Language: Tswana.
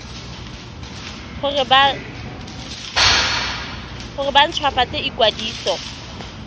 gore ba nt hwafatse ikwadiso